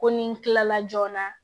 Ko ni n kilala joona